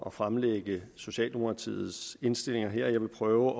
at fremlægge socialdemokratiets indstillinger her jeg vil prøve